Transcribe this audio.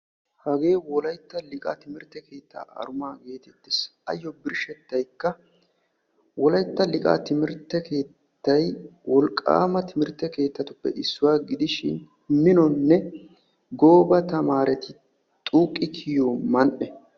Hagee wolaytta liiqa timirtte keetta aruma gidishi dumma dumma minonne gooba tamaaretti xuuqi kiyiyo man'ee.